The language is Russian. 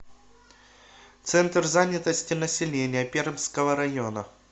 центр занятости населения пермского района